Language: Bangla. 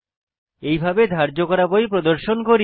এইভাবে ধার্য করা বই প্রদর্শন করি